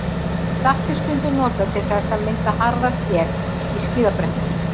Salt er stundum notað til þess að mynda harða skel í skíðabrekkum.